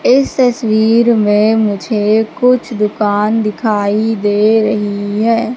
इस तस्वीर में मुझे कुछ दुकान दिखाई दे रही है।